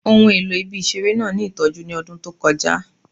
Ohun elo ibi-iṣere naa ni itọju ni ọdun to kọja